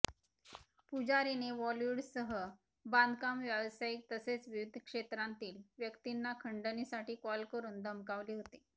पुजारीने बॉलीवूडसह बांधकाम व्यावसायिक तसेच विविध क्षेत्रांतील व्यक्तींना खंडणीसाठी कॉल करून धमकावले होते